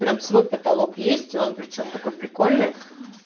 прям свой потолок есть он причём такой прикольный